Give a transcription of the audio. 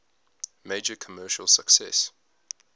major commercial success